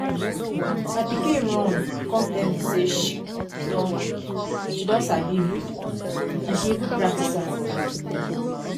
My pikin run come tell me say she don she don sabi read and she even practice am for me